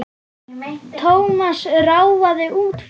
Thomas ráfaði út fyrir.